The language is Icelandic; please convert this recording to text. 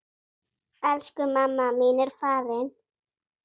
Elsku mamma mín er farin.